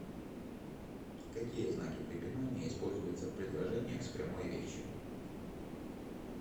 какие знаки препинания используются в предложениях с прямой речью